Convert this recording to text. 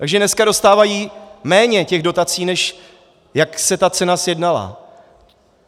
Takže dneska dostávají méně těch dotací, než jak se ta cena sjednala.